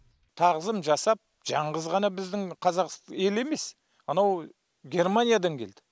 тағзым жасап жаңғыз ғана біздің қазақ елі емес анау германиядан келді